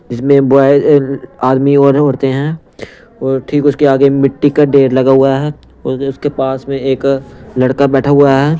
जिसमें बॉय आदमी और औरते हैं और ठीक उसके आगे मिट्टी का डेर लगा हुआ है और उसके पास में एक लड़का बैठा हुआ है।